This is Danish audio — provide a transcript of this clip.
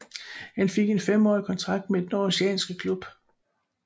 Han fik en femårig kontrakt med den aarhusianske klub